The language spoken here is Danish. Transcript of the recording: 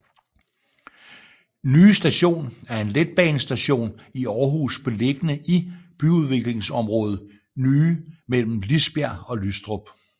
Nye Station er en letbanestation i Aarhus beliggende i byudviklingsområdet Nye mellem Lisbjerg og Lystrup